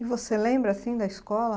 E você lembra, assim, da escola?